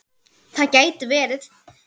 Það gæti verið